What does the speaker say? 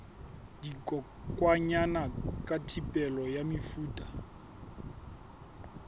dikokwanyana ka thibelo ya mefuta